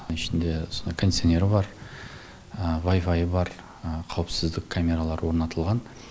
ішінде кондиционері бар вайфайы бар қауіпсіздік камералары орнатылған